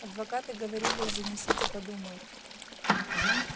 адвокаты говорили занесите подумают